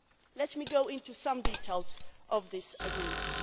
Let me outline some details of this agreement.